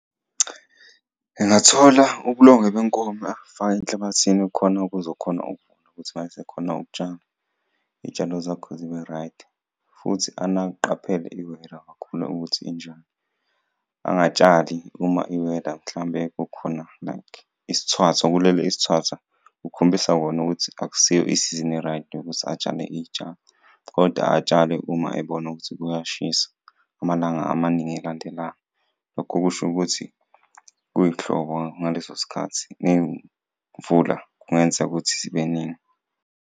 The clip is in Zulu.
Ngingathola ubulongwe benkomo akufake enhlabathini khona kuzokhona ukuthi mayesekhona ukutshala iyitshalo zakho zibe-right, futhi qaphele i-weather kakhulu ukuthi injani. Angatshali uma i-weather mhlawumbe kukhona like isithwathwa kulele isithathwa kukhombisa kona ukuthi akusiyo isizini e-right yokuthi atshale iyitshalo, koda atshale uma ebona ukuthi kuyashisa amalanga amaningi elandelayo. Lokho kusho ukuthi kuyihlobo ngaleso sikhathi neyimvula kungenzeka ukuthi zibe ningi.